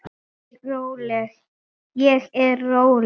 Ég er róleg.